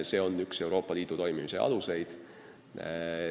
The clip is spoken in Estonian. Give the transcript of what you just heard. See on üks Euroopa Liidu toimimise aluseid.